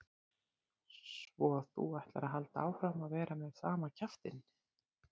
Svo að þú ætlar að halda áfram að vera með sama kjaftinn!